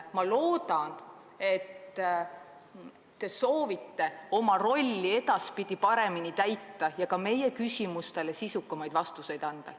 Ma loodan, et te soovite oma rolli edaspidi paremini täita ja ka meie küsimustele sisukamaid vastuseid anda.